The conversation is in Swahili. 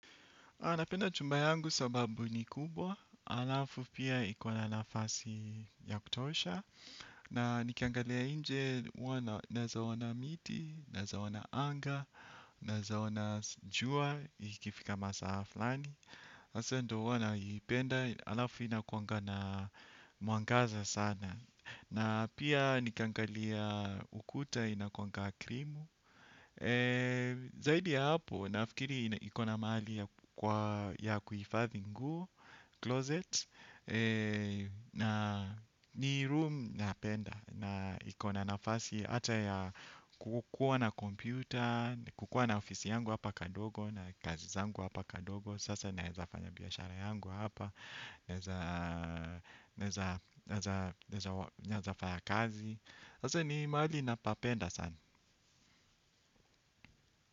A napenda chumba yangu sababu ni kubwa, alafu pia iko na nafasi ya kutosha. Na nikiangalia nje naeza ona miti, naeza ona anga, naeza ona jua, ikifika masaa flani. Asa ndo huwa naipenda, alafu inakuanga na mwangaza sana. Na pia nikiangalia ukuta inakuangana krimu. Zaidi ya hapo, nafikiri iko na maali ya kuifadhi nguo, closet. Na ni room napenda. Na iko na nafasi hata ya kukuwa na computer kukuwa na ofisi yangu hapa kadogo. Na kazi zangu hapa kadogo. Sasa naeza fanya biyashara yangu hapa. Naezafanya kazi. Sasa ni maali napapenda sana.